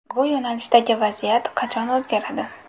Bu yo‘nalishdagi vaziyat qachon o‘zgaradi?